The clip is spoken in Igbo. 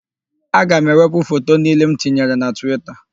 Aga m ewepụ foto niile m tinyere na Twita.